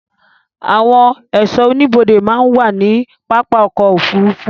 ạwon ẹ̀sọ́ oníbodè màà ń wa ni papá ọ̀kọ̀ ofúrúfú